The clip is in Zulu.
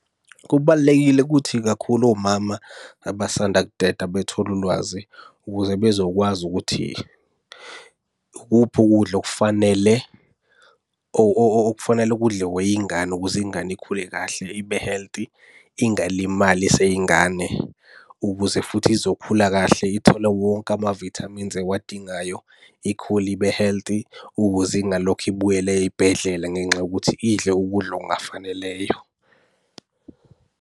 Kubalulekile ukuthi kakhulu omama abasanda kuteta bethole ulwazi ukuze bezokwazi ukuthi ikuphi ukudla okufanele okufanela kudliwe yingane ukuze ingane ikhule kahle ibe healthy. Ingalimali iseyingane ukuze futhi izokhula kahle ithole wonke ama-vitamins ewadingayo. Ikhule ibe healthy ukuze ingalokhu ibuyele ey'bhedlela ngenxa yokuthi idle ukudla okungafaneleyo.